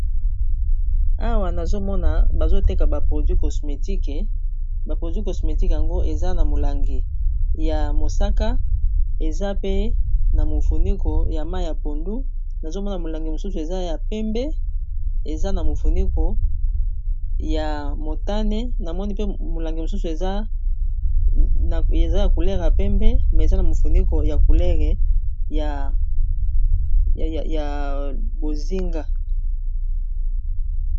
Awa nazomona bazoteka ba produi cosmétique ba produi cosmétique yango eza na molangi ya mosaka, eza pe na mofuniko ya ma ya pondu nazomona molangi mosusu amofuniko ya motane namoni mpe molangi mosusu eza ya kulere ya pembe me eza na mofuniko ya culere ya bozinga.